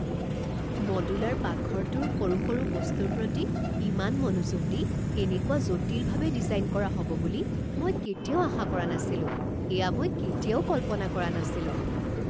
Modular পাকঘৰটোৰ সৰু সৰু বস্তুৰ প্ৰতি ইমান মনোযোগ দি এনেকুৱা জটিলভাৱে ডিজাইন কৰা হ'ব বুলি মই কেতিয়াও আশা কৰা নাছিলোঁ! এয়া মই কেতিয়াও কল্পনা কৰা নাছিলোঁ।